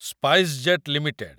SpiceJet limited